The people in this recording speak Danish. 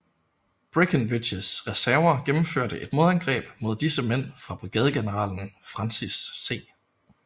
Breckinridges reserver gennemførte et modangreb mod disse mænd fra brigadegeneral Francis C